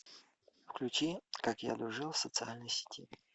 включи как я дружил в социальной сети